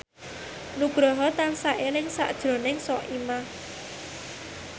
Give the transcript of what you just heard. Nugroho tansah eling sakjroning Soimah